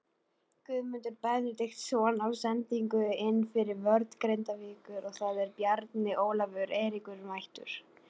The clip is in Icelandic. Guðmundur Benediktsson á sendingu inn fyrir vörn Grindavíkur og þar er Bjarni Ólafur Eiríksson mættur.